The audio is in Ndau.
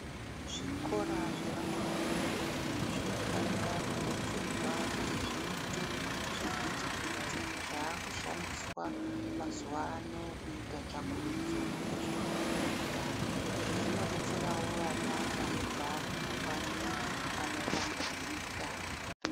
Zvikora zvevana vadoodori zvino fanika kudetserwa kuti zviite zvivhitivhiti zvaakushandiswa mazuwa ano kuita tsvakurudzo yezvekufunda. Izvi zvino detserawo vana vanobva kuma kanyi ano tambudzika.